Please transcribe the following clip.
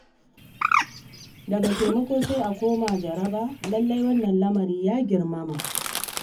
Daga taimako sai a koma jaraba. Lallai wannan lamari ya girmama.